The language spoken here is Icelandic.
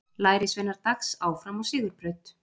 Lærisveinar Dags áfram á sigurbraut